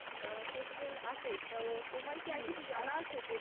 question আসে তো তোমার কি আর কিছু জানা আছে যেটা,